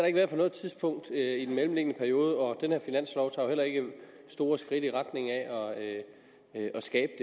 ikke været på noget tidspunkt i den mellemliggende periode og den her finanslov tager jo heller ikke store skridt i retning af at skabe